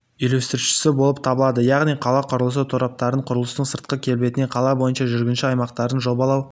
үйлестірушісі болып табылады яғни қала құрылысы тораптарын құрылыстың сыртқы келбетін қала бойынша жүргінші аймақтарын жобалау